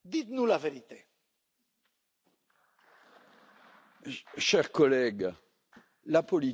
Cher collègue, la politique que je soutiens est la politique de la France.